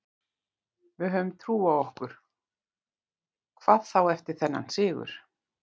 Við höfum trú á okkur, hvað þá eftir þennan sigur.